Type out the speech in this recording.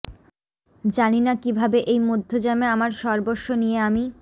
জানি না কি ভাবে এই মধ্যযামে আমার সর্বস্ব নিয়ে আমি